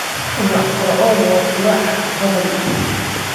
Ubax broccoli waa qurux badan.